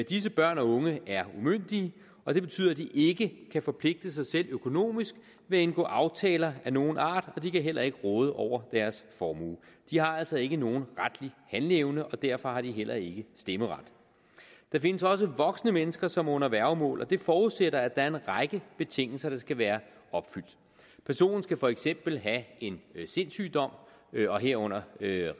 disse børn og unge er umyndige og det betyder at de ikke kan forpligte sig selv økonomisk ved at indgå aftaler af nogen art og de kan heller ikke råde over deres formue de har altså ikke nogen retlig handleevne og derfor har de heller ikke stemmeret der findes også voksne mennesker som er under værgemål og det forudsætter at der er en række betingelser der skal være opfyldt personen skal for eksempel have en sindssygdom herunder